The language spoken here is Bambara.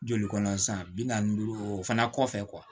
Joli kɔnɔ san bi naani duuru o fana kɔfɛ